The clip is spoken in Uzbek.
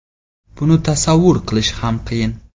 Buni tasavvur qilish ham qiyin.